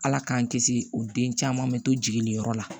Ala k'an kisi o den caman bɛ to jiginyɔrɔ la